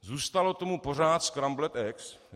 Zůstalo tomu pořád Scrambled eggs.